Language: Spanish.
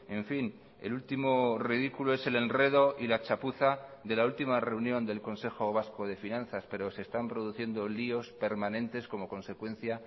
en fin el último ridículo es el enredo y la chapuza de la última reunión del consejo vasco de finanzas pero se están produciendo líos permanentes como consecuencia